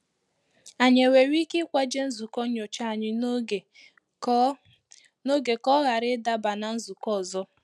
Anyị ewere ike ikwaje nzukọ nnyocha anyị n'oge ka ọ n'oge ka ọ ghara ị daba na nzukọ ọzọ?